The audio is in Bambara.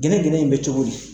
gɛnɛgɛnɛ in bɛ cogo di?